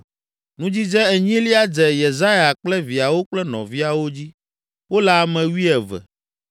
Nudzidze enyilia dze Yesaya kple viawo kple nɔviawo dzi; wole ame wuieve.